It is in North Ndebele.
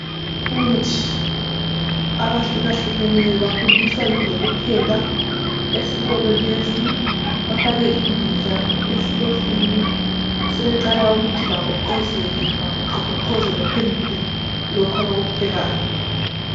Abafundi abahlukahlukeneyo bafundiswa ngezokupheka esikolo lesi. Bafake imbiza esitofini, sebeqala ukuthi bagoqozele ,bagoqogoqoze baphendule lokho abakuphekayo.